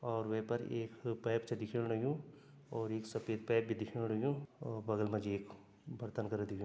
और वे पर एक पाइप छ दिखेण लग्युं एक सफ़ेद पाइप भी दिखेण लग्युं और बगल मा जी एक बर्तन कर दिखे --